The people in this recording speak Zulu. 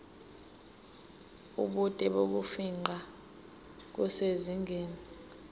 ubude bokufingqa kusezingeni